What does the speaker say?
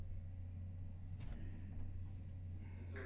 তো